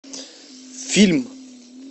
фильм